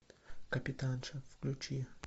капитанша включи